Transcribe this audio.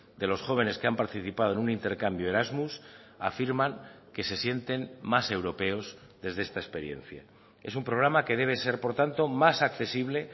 de los jóvenes que han participado en un intercambio erasmus afirman que se sienten más europeos desde esta experiencia es un programa que debe ser por tanto más accesible